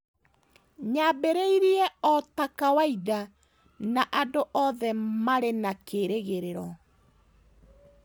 Yaambĩrĩirie o ta kawaida, na andũ othe maarĩ na kĩĩrĩgĩrĩro.